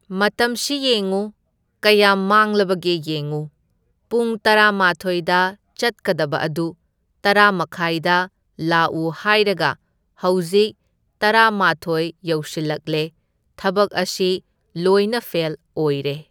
ꯃꯇꯝꯁꯤ ꯌꯦꯡꯎ, ꯀꯌꯥꯝ ꯃꯥꯡꯂꯕꯒꯦ ꯌꯦꯡꯎ, ꯄꯨꯡ ꯇꯔꯥꯃꯥꯊꯣꯏꯗ ꯆꯠꯀꯗꯕ ꯑꯗꯨ ꯇꯔꯥꯃꯈꯥꯏꯗ ꯂꯥꯛꯎ ꯍꯥꯏꯔꯒ ꯍꯧꯖꯤꯛ ꯇꯔꯥꯃꯥꯊꯣꯏ ꯌꯧꯁꯤꯜꯂꯛꯂꯦ, ꯊꯕꯛ ꯑꯁꯤ ꯂꯣꯏꯅ ꯐꯦꯜ ꯑꯣꯏꯔꯦ꯫